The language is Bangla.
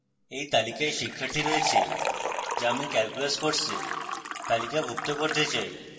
এই তালিকায় শিক্ষার্থী রয়েছে যা আমি calculus course তালিকাভুক্ত করতে চাই